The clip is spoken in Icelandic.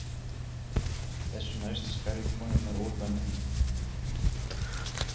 Þessu næst skar ég konurnar úr böndum.